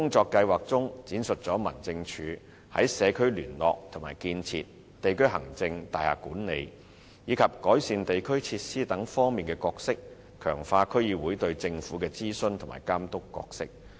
年度工作計劃闡述民政處在社區聯絡和建設、地區行政、大廈管理，以及改善地區設施等方面的工作，強化區議會對政府的諮詢及監督角色。